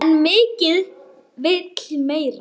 En mikið vill meira.